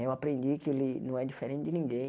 Eu aprendi que ele não é diferente de ninguém.